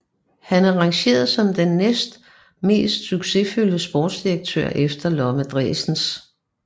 Han er rangeret som den næstmest succesfulde sportsdirektør efter Lomme Driessens